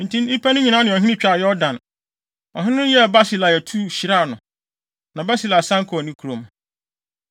Enti nnipa no nyinaa ne ɔhene twaa Yordan, ɔhene no yɛɛ Barsilai atuu, hyiraa no. Na Barsilai san kɔɔ ne kurom.